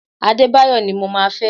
Adebayo ni mo máa fẹ́!